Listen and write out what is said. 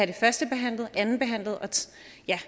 det førstebehandlet og andenbehandlet